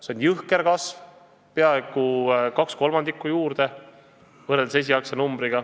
See on jõhker kasv: peaaegu 2/3 juurde võrreldes esialgse näitajaga!